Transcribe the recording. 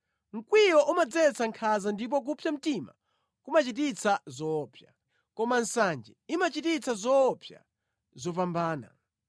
Mkwiyo umadzetsa nkhanza ndipo kupsa mtima kumachititsa zoopsa. Koma nsanje imachita zoopsa zopambana.